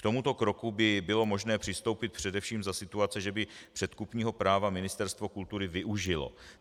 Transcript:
K tomuto kroku by bylo možné přistoupit především za situace, že by předkupního práva Ministerstvo kultury využilo.